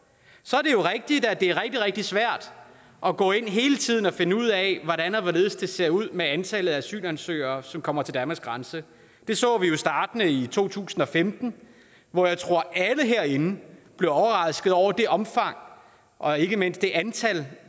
så er det rigtigt at det er rigtig rigtig svært at gå ind hele tiden og finde ud af hvordan og hvorledes det ser ud med antallet af asylansøgere som kommer til danmarks grænse det så vi jo startende i to tusind og femten hvor jeg tror at alle herinde blev overrasket over det omfang og ikke mindst det antal